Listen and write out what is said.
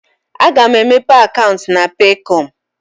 A ga m emepe akaụntụ na Peekọm.